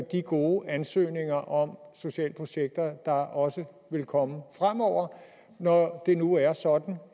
de gode ansøgninger om sociale projekter der også vil komme fremover når det nu er sådan